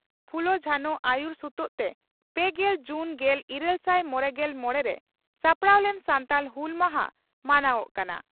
ᱯᱷᱩᱞᱚ ᱡᱷᱟᱱᱚ ᱟᱹᱭᱩᱨ ᱥᱩᱛᱩᱜ ᱛᱮ ᱯᱮᱜᱮᱞ ᱡᱩᱱ ᱜᱮᱞ ᱤᱨᱟᱹᱞᱥᱟᱭ ᱢᱚᱲᱮᱜᱮᱞ ᱢᱚᱲᱮ ᱨᱮ ᱥᱟᱯᱲᱟᱣ ᱞᱮᱱ ᱥᱟᱱᱛᱟᱲ ᱦᱩᱞ ᱢᱟᱦᱟ ᱢᱟᱱᱟᱣᱚᱜ ᱠᱟᱱᱟ ᱾